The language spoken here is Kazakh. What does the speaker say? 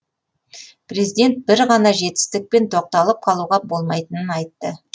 президент бір ғана жетістікпен тоқталып қалуға болмайтынын айтты